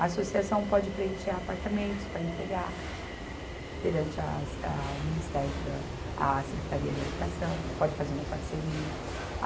A associação pode preencher apartamentos para entregar perante as, a o Ministério da, a Secretaria de Habitação, pode fazer uma parceria.